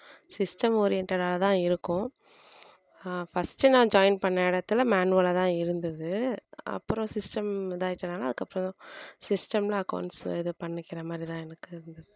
system oriented ஆதான் இருக்கும் ஆஹ் first நான் join பண்ண இடத்துல manual ஆதான் இருந்தது அப்புறம் system இதாயிடுச்சுனால அதுக்கப்புறம் system ல accounts இது பண்ணிக்கிற மாதிரிதான் எனக்கு இருந்தது